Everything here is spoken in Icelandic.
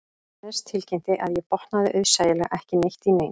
Jóhannes tilkynnti að ég botnaði auðsæilega ekki neitt í neinu